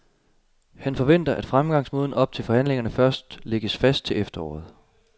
Han forventer, at fremgangsmåden op til forhandlingerne først lægges fast til efteråret.